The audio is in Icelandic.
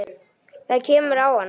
Það kemur á hana.